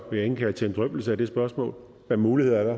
vil jeg indkalde til en drøftelse af det spørgsmål hvad muligheder er der